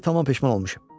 İndi tamam peşman olmuşam.